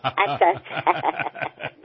अच्छा अच्छा